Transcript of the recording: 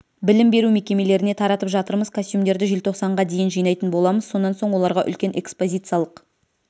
білім беру мекемелеріне таратып жатырмыз костюмдерді желтоқсанға дейін жинайтын боламыз сонан соң оларға үлкен экспозициялық